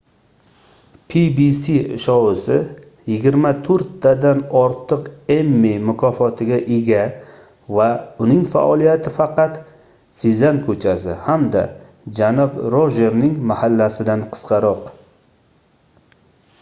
pbs shousi yigirma to'rttadan ortiq emmy mukofotiga ega va uning faoliyati faqat sezam ko'chasi hamda janob rojerning mahallasi"dan qisqaroq